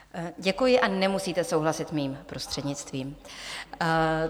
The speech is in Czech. Děkuji a nemusíte souhlasit mým prostřednictvím.